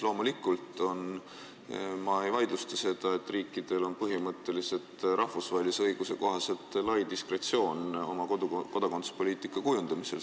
Loomulikult ma ei vaidlusta seda, et riikidel on rahvusvahelise õiguse kohaselt lai diskretsioon oma kodakondsuspoliitika kujundamisel.